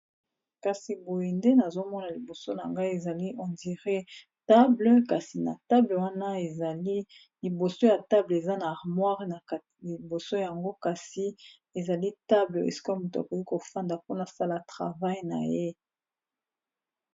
kasi boye nde nazomona liboso na ngai ezali hondire table kasi na table wana ezali liboso ya table eza na armoire na liboso yango kasi ezali table esiko moto akoki kofanda mpona sala travai na ye